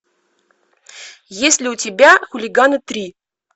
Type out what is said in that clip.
есть ли у тебя хулиганы три